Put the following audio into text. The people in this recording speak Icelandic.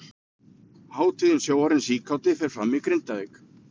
Hátíðin Sjóarinn síkáti fer fram í Grindavík.